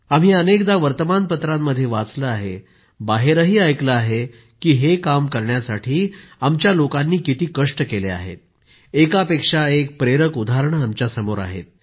आम्ही अनेकदा वर्तमानपत्रांमध्ये वाचलं आहे बाहेरही ऐकलं आहे की हे काम करण्यासाठी आमच्या लोकांनी किती कष्ट केले आहेत एकापेक्षा एक प्रेरक उदाहरणं आमच्या समोर आहेत